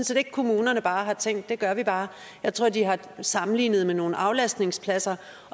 set ikke at kommunerne bare har tænkt det gør vi bare jeg tror de har sammenlignet med nogle aflastningspladser